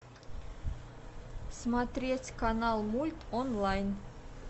смотреть канал мульт онлайн